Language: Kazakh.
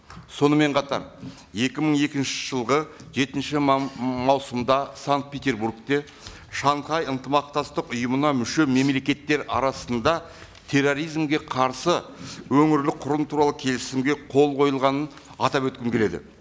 сонымен қатар екі мың екінші жылғы жетінші маусымда санкт петербургте шанхай ынтымақтастық ұйымына мүше мемлекеттер арасында терроризмге қарсы өңірлік құрым туралы келісімге қол қойғанын атап өткім келеді